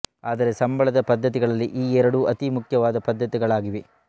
ಆದರೆ ಸಂಬಳದ ಪದ್ದತಿಗಳಲ್ಲಿ ಈ ಎರಡೂ ಅತೀ ಮುಖ್ಯವಾದ ಪದ್ಧತಿಗಳಾಗಿವೆ